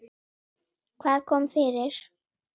Hvað kom fyrir?